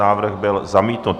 Návrh byl zamítnut.